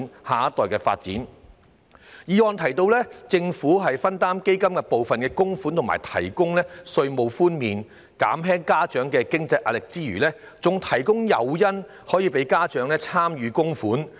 議案不但提到應由政府分擔基金部分供款及提供稅務寬免，以減輕家長的經濟壓力，亦建議提供誘因鼓勵家長參與供款。